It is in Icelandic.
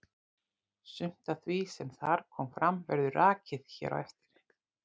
Sumt af því sem þar kom fram verður rakið hér á eftir.